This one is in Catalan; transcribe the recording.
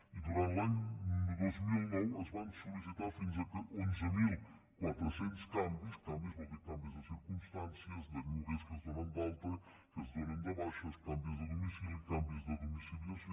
i durant l’any dos mil nou es van sol·licitar fins a onze mil quatre cents canvis canvis vol dir canvis de circumstàncies de lloguers que es donen d’alta que es donen de baixa canvis de domicili canvis de domiciliació